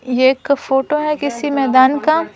ये एक फोटो है किसी मैदान का।